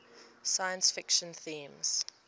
science fiction themes